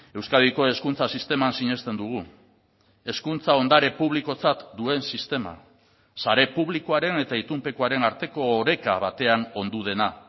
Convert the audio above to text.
euskadiko hezkuntza sisteman sinesten dugu hezkuntza ondare publikotzat duen sistema sare publikoaren eta itunpekoaren arteko oreka batean ondu dena